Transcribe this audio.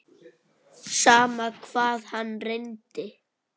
Sama hvað hann reyndi.